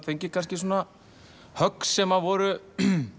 fengið kannski svona högg sem voru